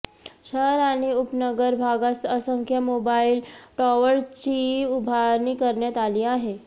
शहर आणि उपनगर भागात असंख्य मोबाईल टॉवरची उभारणी करण्यात आली आहे